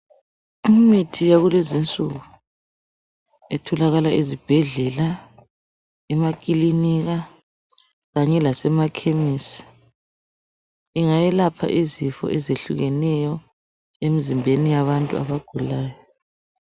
Imithi yakulezinsuku etholakala ezibhedlela, ekilinika kanye lasemafamasi ingayelwpha izifo ezihlukeneyo emzimbeni yabantu abagulayo.